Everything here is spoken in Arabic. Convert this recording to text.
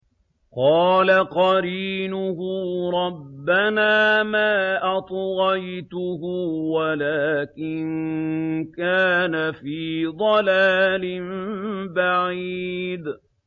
۞ قَالَ قَرِينُهُ رَبَّنَا مَا أَطْغَيْتُهُ وَلَٰكِن كَانَ فِي ضَلَالٍ بَعِيدٍ